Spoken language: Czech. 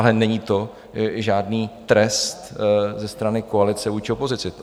Ale není to žádný trest ze strany koalice vůči opozici.